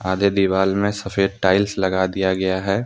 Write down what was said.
आधे दिवाल में सफेद टाइल्स लगा दिया गया है।